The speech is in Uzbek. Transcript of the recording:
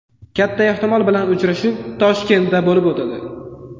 Katta ehtimol bilan uchrashuv Toshkentda bo‘lib o‘tadi.